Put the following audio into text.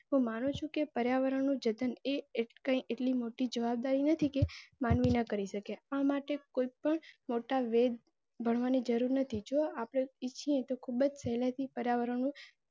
હું માનું છું કે પર્યાવરણનું જતન એસ કેટલી મોટી જવાબદારી નથી કે માનવી ના કરી શકે. આ માટે કોઈ પણ મોટા વેદ ભણવાની જરુર નથી. જો આપણે ઈચ્છીએ તો ખુબ જ સેહ્લાઈ થી પર્યાવરણ નું